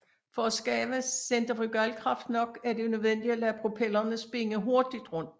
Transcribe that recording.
For at skabe centrifugalkraft nok er det nødvendigt at lade propellerne spinde hurtigt rundt